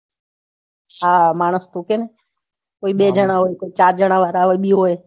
હા માણસ નું કેમ કોઈ બે જના હોય કોઈ ચાર જણા પણ હોય વાળા બી હોય.